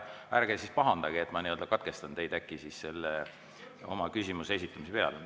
Ärge siis pahandage, kui ma katkestan teid küsimuse esitamise pealt.